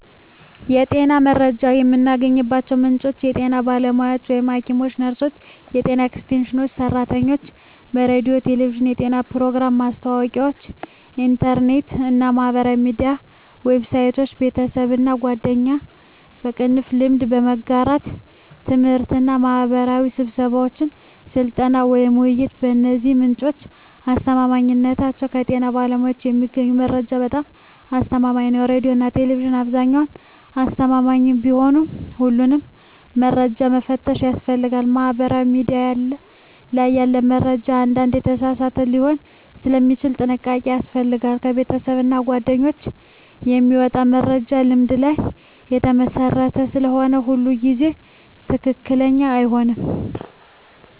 የጤና መረጃ የሚገኝባቸው ምንጮች የጤና ባለሙያዎች (ሐኪሞች፣ ነርሶች፣ የጤና ኤክስቴንሽን ሰራተኞች) ሬዲዮና ቴሌቪዥን (የጤና ፕሮግራሞች፣ ማስታወቂያዎች) ኢንተርኔት እና ማህበራዊ ሚዲያ ዌብሳይቶች) ቤተሰብና ጓደኞች (ልምድ በመጋራት) ት/ቤትና ማህበራዊ ስብሰባዎች (ስልጠና፣ ውይይት) የእነዚህ ምንጮች አስተማማኝነት ከጤና ባለሙያዎች የሚገኘው መረጃ በጣም አስተማማኝ ነው ሬዲዮና ቴሌቪዥን በአብዛኛው አስተማማኝ ቢሆንም ሁሉንም መረጃ መፈተሽ ያስፈልጋል ማህበራዊ ሚዲያ ላይ ያለ መረጃ አንዳንዴ የተሳሳተ ሊሆን ስለሚችል ጥንቃቄ ያስፈልጋል ከቤተሰብና ጓደኞች የሚመጣ መረጃ ልምድ ላይ የተመሰረተ ስለሆነ ሁሉ ጊዜ ትክክለኛ አይሆንም